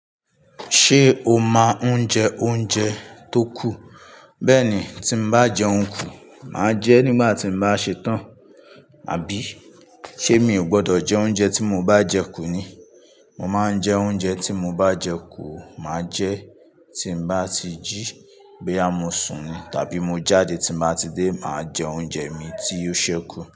Ṣé o máa ń jẹ oúnjẹ tó kù? Bẹ́ẹ̀ ni, tí mo bá jẹun kù, màá jẹ nígbà tí mo bá ṣetán, àbí? Ṣé mi ò gbọdọ̀ jẹ oúnjẹ tí mo bá jẹ kù ni? Mo máa ń jẹ oúnjẹ tí mo bá jẹ kù, màá jẹ tí mo bá ti jí, boya mo sùn ni tàbí mo jáde tí mo bá ti dé, màá jẹ oúnjẹ mi tí o ṣẹ́kù.